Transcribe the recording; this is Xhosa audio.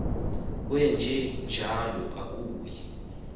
wenje njalo akuyi